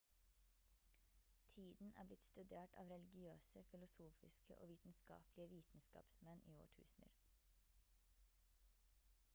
tiden er blitt studert av religiøse filosofiske og vitenskapelige vitenskapsmenn i årtusener